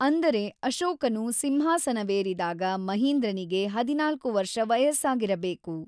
ಅಂದರೆ ಅಶೋಕನು ಸಿಂಹಾಸನವೇರಿದಾಗ ಮಹಿಂದ್ರನಿಗೆ ೧೪ ವರ್ಷ ವಯಸ್ಸಾಗಿರಬೇಕು.